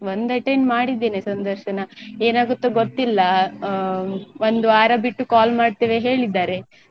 ಒಂದ್ attend ಮಾಡಿದ್ದೇನೆ ಸಂದರ್ಶನ ಏನ್ ಆಗುತ್ತೋ ಗೊತ್ತಿಲ್ಲ ಹ ಒಂದ್ ವಾರ ಬಿಟ್ಟು call ಮಾಡ್ತೇವೆ ಹೇಳಿದ್ದಾರೆ.